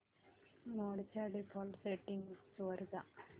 मोड च्या default settings वर जा